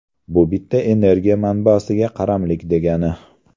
Bu bitta energiya manbasiga qaramlik degani.